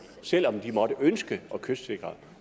selv om de måtte ønske at kystsikre